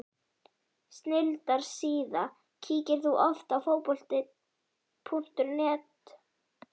Snilldar síða Kíkir þú oft á Fótbolti.net?